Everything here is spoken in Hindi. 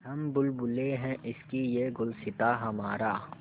हम बुलबुलें हैं इसकी यह गुलसिताँ हमारा